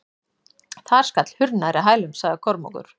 Þar skall hurð nærri hælum, sagði Kormákur.